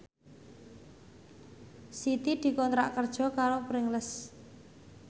Siti dikontrak kerja karo Pringles